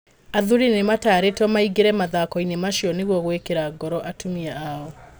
Athuri nĩmatarĩto maingĩre mathakoinĩ macio nĩgũo gwikĩra ngoro atumia ao.